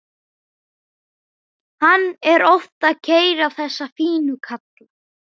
Hann er oft að keyra þessa fínu kalla.